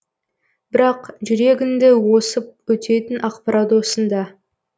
бірақ жүрегіңді осып өтетін ақпарат осында